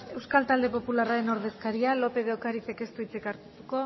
euskal talde popularraren ordezkaria lópez de ocarizek ez du hitzik hartuko